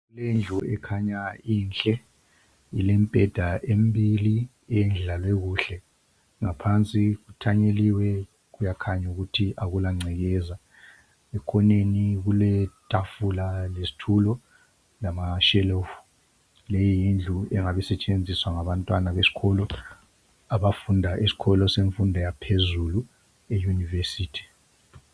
Indlu ekhanya inhle, ilembheda embili eyendlalwekuhle, ngaphansi kuthanyeliwe kuyakhanya ukuthi akula ngcekeza. Ekhoneni kuletafula lesitulo lamashelufu. Leyi yindlu engabe isetshenziswa ngabantwana besikolo abafunda esikolo semfundo yaphezulu e yunivesithi.